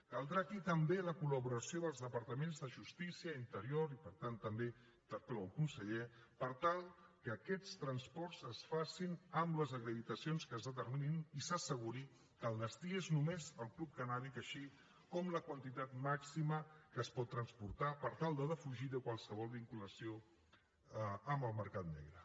caldrà aquí també la col·laboració dels departaments de justícia i interior i per tant també interpel·lo el conseller per tal que aquests transports es facin amb les acreditacions que es determinin i s’asseguri que el destí és només el club cannàbic així com la quantitat màxima que es pot transportar per tal de defugir qualsevol vinculació amb el mercat negre